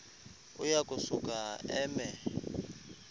uya kusuka eme